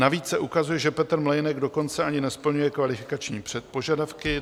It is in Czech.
Navíc se ukazuje, že Petr Mlejnek dokonce ani nesplňuje kvalifikační požadavky.